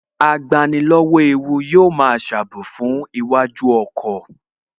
Agbani lọ́wọ́ ewu yóò máa ṣe ààbò fún iwájú ọkọ̀